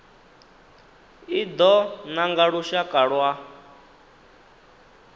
i do nanga lushaka lwa